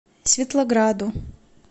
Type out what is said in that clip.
светлограду